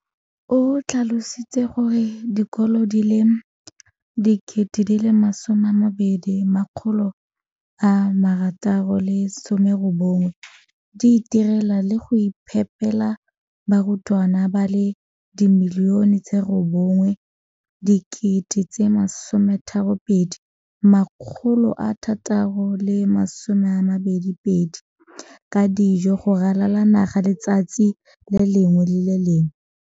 o tlhalositse gore dikolo di le 20 619 di itirela le go iphepela barutwana ba le 9 032 622 ka dijo go ralala naga letsatsi le lengwe le le lengwe.